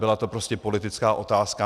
Byla to prostě politická otázka.